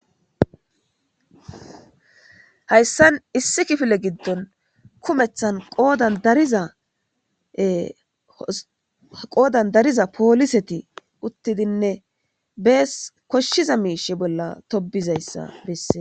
Hayssan issi kifile giddon kumethan qoodan dariza pooliseti uttidinne bees koshshiza miishe bolla tobizayssa bessee.